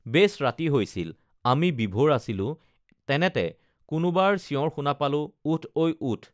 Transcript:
বেছ ৰাতি হৈছিল আমি বিভোৰ আছিলো তেনেতে কোনোবাৰ চিঞঁৰ শুনা পালো উঠ ঐ উঠ